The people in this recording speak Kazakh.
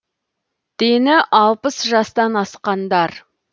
дені алпыс жастан асқандар